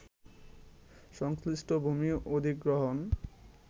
সংশ্লিষ্ট ভূমি অধিগ্রহণ